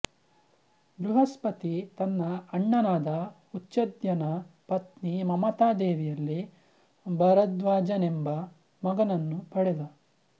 ಬೃಹಸ್ಪತಿ ತನ್ನ ಅಣ್ಣನಾದ ಉಚಧ್ಯನ ಪತ್ನಿ ಮಮತಾದೇವಿಯಲ್ಲಿ ಭರದ್ವಾಜನೆಂಬ ಮಗನನ್ನು ಪಡೆದ